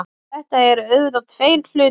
Þetta eru auðvitað tveir hlutir